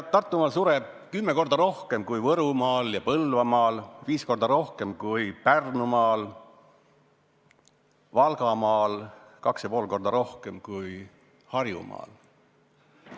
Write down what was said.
Tartumaal sureb tules kümme korda rohkem inimesi kui Võrumaal ja Põlvamaal, viis korda rohkem kui Pärnumaal ja Valgamaal, kaks ja pool korda rohkem kui Harjumaal.